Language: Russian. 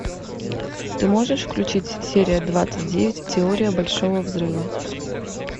ты можешь включить серия двадцать девять теория большого взрыва